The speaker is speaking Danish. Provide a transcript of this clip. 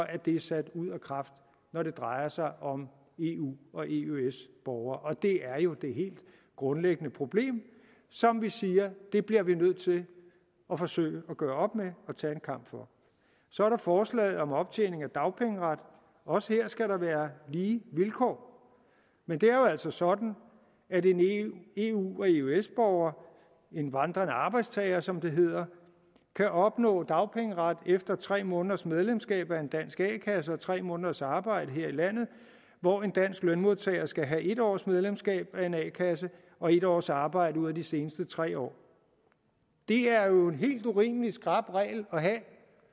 er det sat ud af kraft når det drejer sig om eu og eøs borgere og det er jo det helt grundlæggende problem som vi siger vi bliver nødt til at forsøge at gøre op med og tage en kamp for så er der forslaget om optjening af dagpengeret også her skal der være lige vilkår men det er jo altså sådan at en eu og eøs borger en vandrende arbejdstager som det hedder kan opnå dagpengeret efter tre måneders medlemskab af en dansk a kasse og tre måneders arbejde her i landet hvor en dansk lønmodtager skal have en års medlemskab af en a kasse og en års arbejde ud af de seneste tre år det er jo en helt urimelig skrap regel at have